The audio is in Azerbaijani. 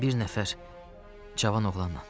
Bir nəfər cavan oğlanla.